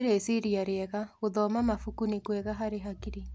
Nĩ rĩciria rĩega, gũthoma mabuku nĩ kwega harĩ akiri.